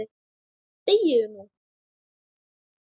ÞEGIÐU NÚ!